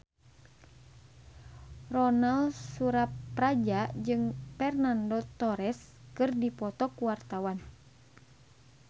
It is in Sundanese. Ronal Surapradja jeung Fernando Torres keur dipoto ku wartawan